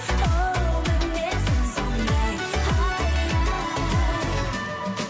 оу мінезім сондай ай ай